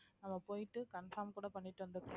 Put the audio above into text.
நம்ம போயிட்டு confirm கூட பண்ணிட்டு